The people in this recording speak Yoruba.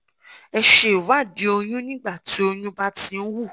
ẹ ṣe ìwádìí oyún nígbà tí oyún bá ti ń wú